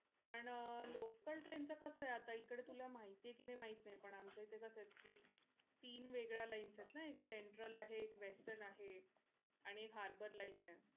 पण अह local train च कस आहे आत्ता इकडं तुला माहिती आहे का माहित नाही पण आमच्या इथे जसकी तीन वेगळ्या lines आहेत ना एक central आहे एक western आहे आणि एक harbour line आहे